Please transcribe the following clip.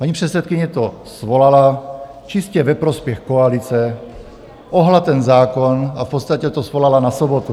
Paní předsedkyně to svolala čistě ve prospěch koalice, ohnula ten zákon a v podstatě to svolala na sobotu.